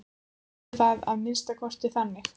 Hún skildi það að minnsta kosti þannig.